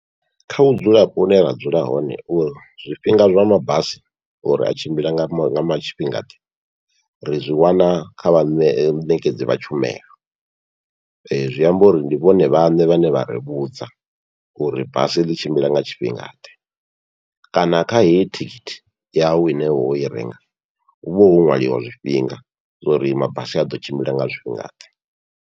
Kha vhudzulapo hune ra dzula hone uri zwifhinga zwa mabasi uri a tshimbila nga tshifhinga ḓe, ri zwi wana kha vhaṋe vhaṋekedzi vha tshumelo zwi amba uri ndi vhone vhaṋe vhane vha ri vhudza uri basi ḽi tshimbila nga tshifhinga ḓe, kana kha heyi tikiti yawu ine woi renga huvha ho ṅwaliwa zwifhinga zwauri mabasi aḓo tshimbila nga zwifhinga ḓe.